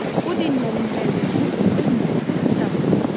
Bu dinlərin hər birinin öz müqəddəs kitabı var.